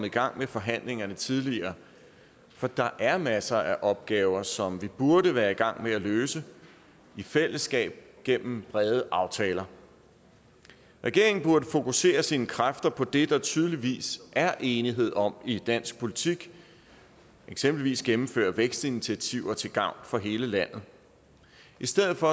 i gang med forhandlingerne tidligere for der er masser af opgaver som vi burde være i gang med at løse i fællesskab gennem brede aftaler regeringen burde fokusere sine kræfter på det der tydeligvis er enighed om i dansk politik eksempelvis at gennemføre vækstinitiativer til gavn for hele landet i stedet for